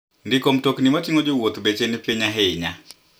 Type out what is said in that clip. Ndiko mtokni mating'o jowuoth beche ni piny ahinya.